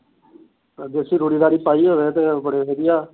ਦੇਸੀ ਰੂੜੀ ਰਾੜੀ ਪਾਈ ਹੋਵੇ ਤੇ ਵਧੀਆਂ